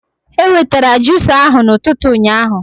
E wetara jusa ahụ na ụtụtụ ụnyaahụ